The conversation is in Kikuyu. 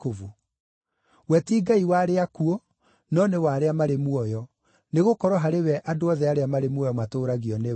We ti Ngai wa arĩa akuũ, no nĩ wa arĩa marĩ muoyo, nĩgũkorwo harĩ we andũ othe arĩa marĩ muoyo matũũragio nĩwe.”